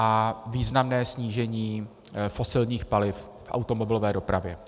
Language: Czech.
A významné snížení fosilních paliv v automobilové dopravě.